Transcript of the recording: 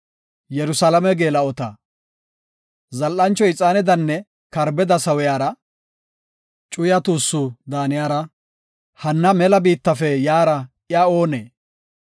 Zal7ancho ixaanedanne karbeda sawiyara, cuya tuussu daaniyara, hanna mela biittafe yaara iya oonee?